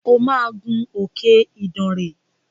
O máa gun òkè Idànrè!